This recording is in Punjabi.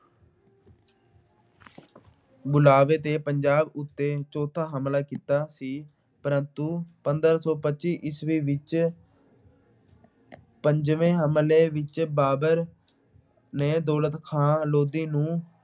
ਬੁਲਾਵੇ ਤੇ ਪੰਜਾਬ ਉੱਤੇ ਚੌਥਾ ਹਮਲਾ ਕੀਤਾ ਸੀ ਪ੍ਰੰਤੂ ਪੰਦਰਾਂ ਸੌ ਪੱਚੀ ਈਸਵੀ ਵਿੱਚ ਪੰਜਵੇਂ ਹਮਲੇ ਵਿੱਚ ਬਾਬਰ ਨੇ ਦੌਲਤ ਖਾਂ ਲੋਧੀ ਨੂੰ